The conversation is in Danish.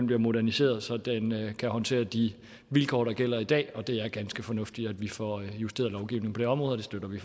bliver moderniseret så den kan håndtere de vilkår der gælder i dag det er ganske fornuftigt at vi får justeret lovgivningen på det område og det støtter vi